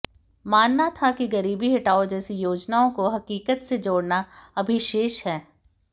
मानना था कि गरीबी हटाओ जैसी योजनाओं को हकीकत से जोड़ना अभी शेष है